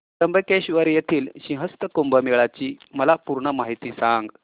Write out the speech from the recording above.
त्र्यंबकेश्वर येथील सिंहस्थ कुंभमेळा ची मला पूर्ण माहिती सांग